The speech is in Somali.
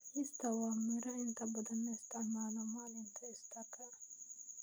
Easter waa miro inta badan la isticmaalo maalinta Easter-ka.